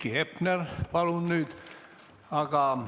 Heiki Hepner, palun nüüd!